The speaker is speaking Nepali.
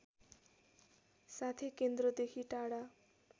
साथै केन्द्रदेखि टाढा